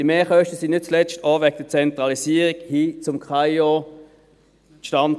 Die Mehrkosten kamen nicht zuletzt auch wegen der Zentralisierung hin zum KAIO zustande.